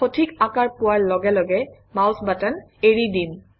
সঠিক আকাৰ পোৱাৰ লগে লগে মাউচ বাটন এৰি দিম